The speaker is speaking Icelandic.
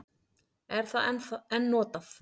Er það enn notað?